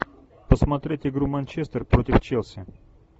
посмотреть игру манчестер против челси